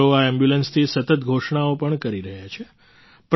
તેઓ આ એમ્બ્યુલન્સથી સતત ઘોષણાઓ પણ કરી રહ્યા છે